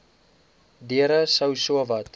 deure sou sowat